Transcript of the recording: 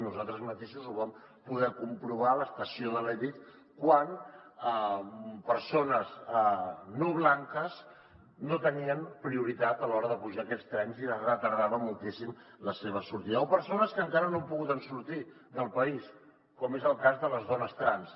nosaltres mateixos ho vam poder comprovar a l’estació de lviv quan persones no blanques no tenien prioritat a l’hora de pujar a aquests trens i es retardava moltíssim la seva sortida o persones que encara no han pogut sortir del país com és el cas de les dones trans